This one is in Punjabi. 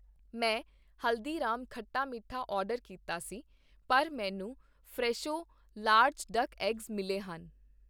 ਮੈਂ ਹਲਦੀ ਰਾਮ ਖੱਟਾ ਮੀਠਾ ਆਰਡਰ ਕੀਤਾ ਸੀ, ਪਰ ਮੈਨੂੰ ਫਰੈਸ਼ੋ ਲਾਰਜ ਡੱਕ ਐਗਜ਼ ਮਿਲੇ ਹਨ।